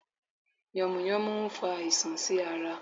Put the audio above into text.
Yànmùyánmú n fa àisàn sí ara